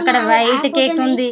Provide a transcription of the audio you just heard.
అక్కడ white cake ఉంది.